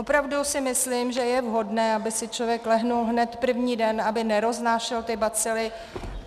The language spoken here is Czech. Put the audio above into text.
Opravdu si myslím, že je vhodné, aby si člověk lehl hned první den, aby neroznášel ty bacily.